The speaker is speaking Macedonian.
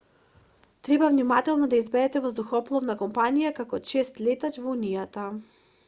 треба внимателно да ја изберете воздухопловна компанија како чест летач во унијата